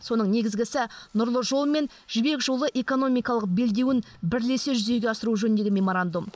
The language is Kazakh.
соның негізгісі нұрлы жол мен жібек жолы экономикалық белдеуін бірлесе жүзеге асыру жөніндегі меморандум